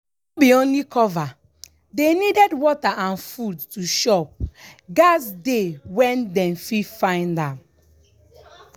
no be only cover dey needed water and food to chop gats dey where dem fit see am